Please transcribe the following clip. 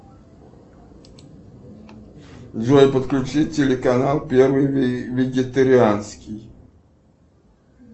джой подключи телеканал первый вегетарианский